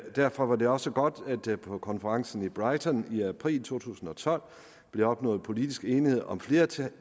derfor var det også godt at der på konferencen i brighton i april to tusind og tolv blev opnået politisk enighed om flere tiltag